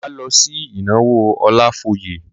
Máa lọ sí ìnáwó Ọlafóyè.